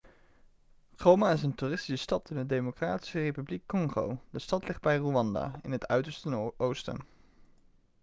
goma is een toeristische stad in de democratische republiek congo de stad ligt bij rwanda in het uiterste oosten